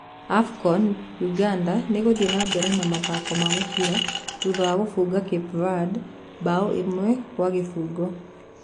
AFCON; Uganda nĩngũthie na mbere na Mathako ma mũbira thutha wa ngubũnga Capeverde Mbao imwe gwa gibũgũ.